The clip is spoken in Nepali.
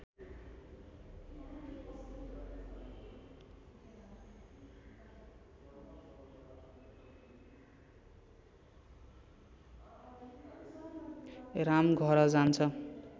राम घर जान्छ